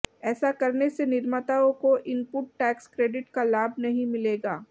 ऐसा करने से निर्माताओं को इनपुट टैक्स क्रेडिट का लाभ नहीं मिलेगा